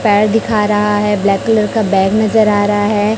पैर दिखा रहा है ब्लैक कलर का बैग नजर आ रहा है।